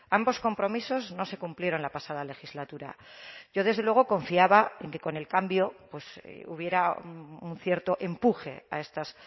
ambos compromisos no se cumplieron la pasada legislatura yo desde luego confiaba en que con el cambio hubiera un cierto empuje a estas